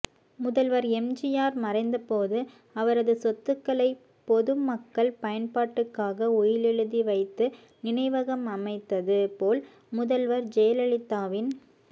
முதல்வர் எம்ஜிஆர் மறைந்த போது அவரது சொத்துக்களைபொதுமக்கள் பயன்பாட்டுக்காக உயிலெழுதி வைத்து நினைவகம் அமைத்தது போல் முதல்வர் ஜெயலலிதாவின்